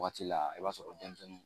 Waati la i b'a sɔrɔ denmisɛnninw